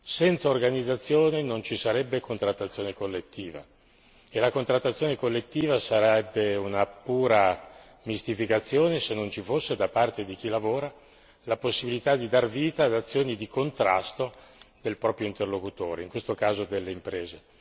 Senza organizzazione non ci sarebbe contrattazione collettiva e la contrattazione collettiva sarebbe una pura mistificazione se non ci fosse da parte di chi lavora la possibilità di dar vita ad azioni di contrasto del proprio interlocutore, in questo caso delle imprese.